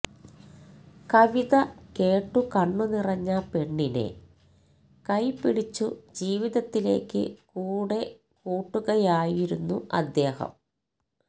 കവിത കേട്ടു കണ്ണുനിറഞ്ഞ പെണ്ണിനെ കൈപിടിച്ചു ജീവിതത്തിലേക്കു കൂടെക്കൂട്ടുകയായിരുന്നു അദ്ദേഹം